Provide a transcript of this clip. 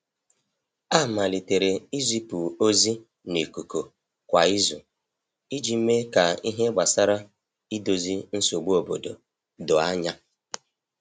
A malitere izipu ozi na ikuku kwa izu iji mee ka ihe gbasara idozi nsogbu obodo doo anya.